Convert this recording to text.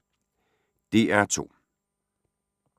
DR2